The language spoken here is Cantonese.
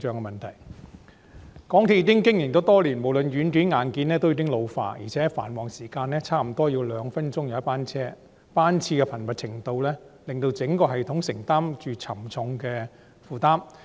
港鐵公司已經營多年，無論軟件和硬件均已老化，而且繁忙時間約2分鐘一班車，班次的頻密程度令整個系統的負擔沉重。